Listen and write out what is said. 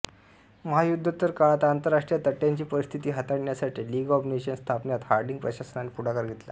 महायुद्धोत्तर काळात आंतरराष्ट्रीय तंट्यांची परिस्थिति हाताळण्यासाठी लीग ऑफ नेशन्स स्थापण्यात हार्डिंग प्रशासनाने पुढाकार घेतला